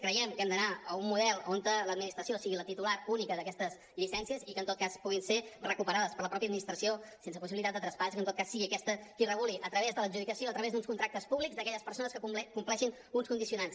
creiem que hem d’anar a un model on l’administració sigui la titular única d’aquestes llicències i que en tot cas puguin ser recuperades per la mateixa administració sense possibilitat de traspàs i que sigui aquesta qui reguli a través de l’adjudicació a través d’uns contractes públics per a aquelles persones que compleixin uns condicionants